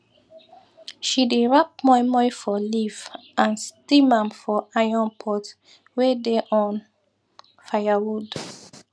she dey wrap moi moi for leaf and steam am for iron pot wey dey on firewood